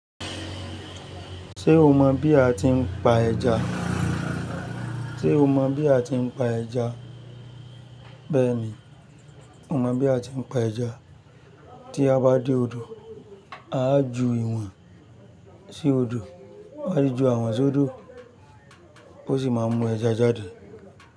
Ṣé o mọ̀ bí a ti ń pa ejà? Bẹ́ẹ̀ ni, o mọ̀ bí a ti ń pa ẹja. Tí a bá dé odò, a á ju ìwọ̀n sí odò, wá rí ju àwọn sódò kó sì máa mú ẹja jáde.